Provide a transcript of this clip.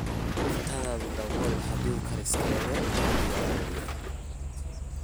Cuntadha dawool hadii kariskeydha diyarowe.